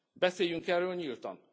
Beszéljünk erről nyíltan!